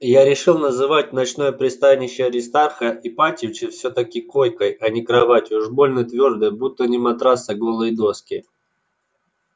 я решил называть ночное пристанище аристарха ипатьевича всё-таки койкой а не кроватью уж больно твёрдая будто не матрас а голые доски